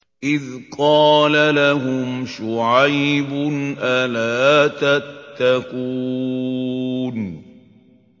إِذْ قَالَ لَهُمْ شُعَيْبٌ أَلَا تَتَّقُونَ